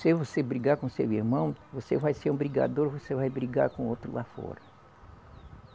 Se você brigar com seu irmão, você vai ser um brigador, você vai brigar com outro lá fora.